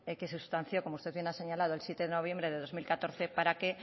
que se sustanció como usted muy bien ha señalado el siete de noviembre de dos mil catorce para que